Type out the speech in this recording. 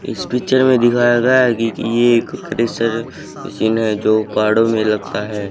इस पिक्चर में दिखाया गया है कि कि ये एक क्रशर मशीन है जो पहाड़ों में लगता है।